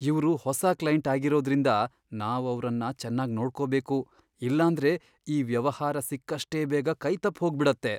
ಇವ್ರು ಹೊಸ ಕ್ಲೈಂಟ್ ಆಗಿರೋದ್ರಿಂದ, ನಾವ್ ಅವ್ರನ್ನ ಚೆನ್ನಾಗ್ ನೋಡ್ಕೊಬೇಕು ಇಲ್ಲಾಂದ್ರೆ ಈ ವ್ಯವಹಾರ ಸಿಕ್ಕಷ್ಟೇ ಬೇಗ ಕೈತಪ್ಪ್ ಹೋಗ್ಬಿಡತ್ತೆ.